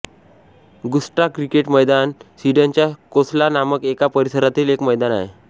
गुट्स्टा cricket मैदान हे स्वीडनच्या कोल्स्वा नामक एका परिसरातील एक मैदान आहे